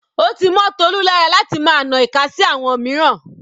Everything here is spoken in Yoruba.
Ó ti mọ́ Tolu lára láti máa na ìka sí àwọn mìíràn.